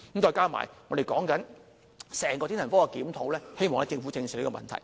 再加上，我們說整個精神科檢討，希望政府正視這個問題。